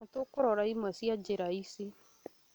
nĩtũkũrora imwe cia njĩra ici